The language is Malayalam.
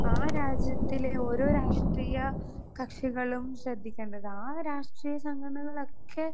സ്പീക്കർ 2 ആ രാജ്യത്തിലെ ഓരോ രാഷ്ട്രീയ കക്ഷികളും ശ്രദ്ധിക്കേണ്ടത്. ആ രാഷ്ട്രീയ സംഘടനകളൊക്കെ